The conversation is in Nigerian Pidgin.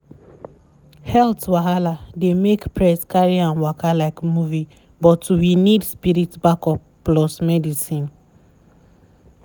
health wahala dey make press carry am waka like movie but we need spirit back-up plus medicine.